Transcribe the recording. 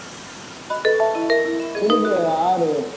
குளிகை ஆறு